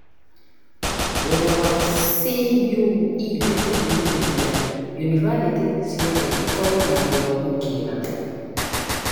Wĩra wa CUE nĩ kũhinyĩrĩria yunibathitĩ ciothe ikorwo na gĩthomo kĩega